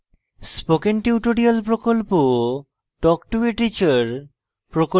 spoken tutorial প্রকল্প talk to a teacher প্রকল্পের অংশবিশেষ